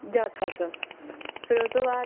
ਜਦ ਤਕ ਫੇਰ ਉਹ ਤੋਂ ਬਾਅਦ